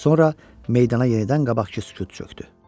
Sonra meydana yenidən qabaqkı sükut çökdü.